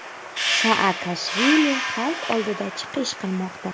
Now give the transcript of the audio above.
Saakashvili xalq oldida chiqish qilmoqda.